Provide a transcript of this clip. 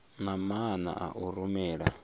na maana a u rumela